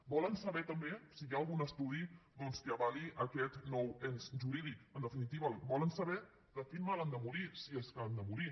volen saber també si hi ha algun estudi doncs que avali aquest nou ens jurídic en definitiva volen saber de quin mal han de morir si és que han de morir